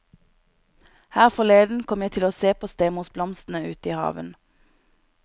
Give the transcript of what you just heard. Her forleden kom jeg til å se på stemorsblomstene ute i hagen.